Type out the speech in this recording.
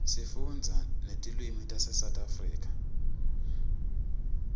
sifunda netilwimitase south africa